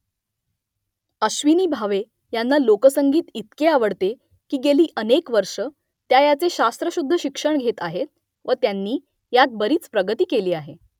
अश्विनी भावे यांना लोकसंगीत इतके आवडते की गेली अनेक वर्ष त्या याचे शास्त्रशुद्ध शिक्षण घेत आहेत व त्यांनी यात बरीच प्रगती केली आहे